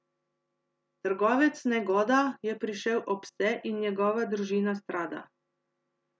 Trgovec Negoda je prišel ob vse, in njegova družina strada.